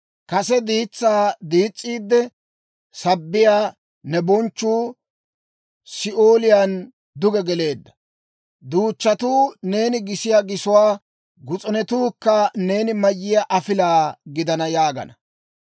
Kase diitsaa diis's'iidde sabbiyaa ne bonchchuu Si'ooliyaan duge geleedda. Duuchchatuu neeni gisiyaa gisuwaa; gus'unetuukka neeni mayiyaa afilaa gidana› yaagana.